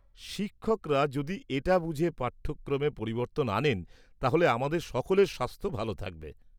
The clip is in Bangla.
-শিক্ষকরা যদি এটা বুঝে পাঠ্যক্রমে পরিবর্তন আনেন তাহলে আমাদের সকলের স্বাস্থ্য ভালো থাকবে।